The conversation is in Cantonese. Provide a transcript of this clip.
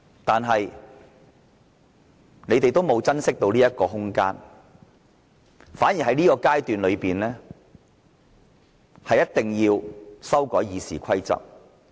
但是，他們沒有珍惜這個空間，反而在這個階段一定要修改《議事規則》。